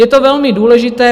Je to velmi důležité.